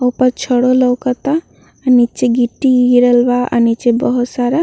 ऊपर छड़ो लोकता। नीचे गिट्टी गिरल बा नीचे बहुत सारा।